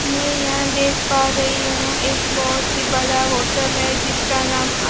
मैं यहां देख पा रही हूं एक बहोत ही बड़ा होटल है जिसका नाम --